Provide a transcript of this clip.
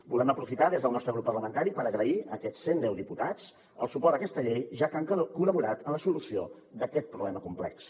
volem aprofitar des del nostre grup parlamentari per agrair a aquests cent deu diputats el suport a aquesta llei ja que han col·laborat en la solució d’aquest problema complex